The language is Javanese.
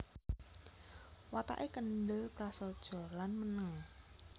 Watake kendhel prasaja lan meneng